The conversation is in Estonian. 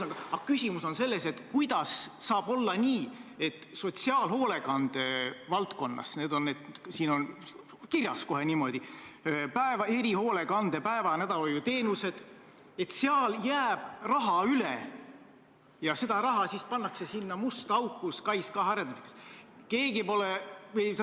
Aga küsimus on selles, kuidas saab olla nii, et sotsiaalhoolekande valdkonnas – siin on kohe kirjas niimoodi: erihoolekande päeva- ja nädalahoiuteenused – jääb raha üle ja seda pannakse siis sinna musta auku, SKAIS2 arendamisse.